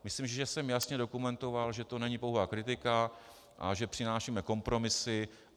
Myslím, že jsem jasně dokumentoval, že to není pouhá kritika a že přinášíme kompromisy.